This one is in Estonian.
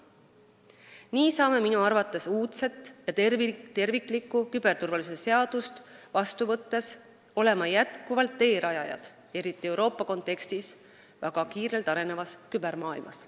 Nii saame minu arvates uudset ja terviklikku küberturvalisuse seadust vastu võttes olla teerajajad, eriti Euroopa kontekstis, väga kiirelt arenevas kübermaailmas.